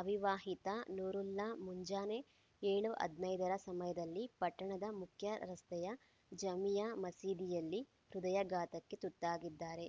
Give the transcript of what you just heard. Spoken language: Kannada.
ಅವಿವಾಹಿತ ನೂರುಲ್ಲಾ ಮುಂಜಾನೆ ಏಳು ಹದನೈದರ ಸಮಯದಲ್ಲಿ ಪಟ್ಟಣದ ಮುಖ್ಯರಸ್ತೆಯ ಜಾಮಿಯಾ ಮಸೀದಿಯಲ್ಲಿ ಹೃದಯಾಘಾತಕ್ಕೆ ತುತ್ತಾಗಿದ್ದಾರೆ